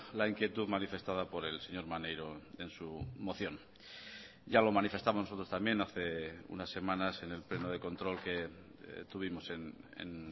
la inquietud manifestada por el señor maneiro en su moción ya lo manifestamos nosotros también hace unas semanas en el pleno de control que tuvimos en